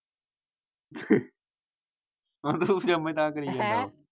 ਆਂਦਾ ਉਹ ਪਜਾਮਾ ਹੀ ਤਾਹ ਕਰਿ ਜਾਊਗਾ ਹੈਂ?